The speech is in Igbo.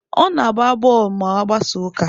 Ọ na-agba bọọlụ ma ọ gbasaa ụka.